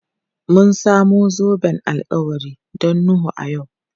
Mun samu zoben alkawari don Nuhu a yau.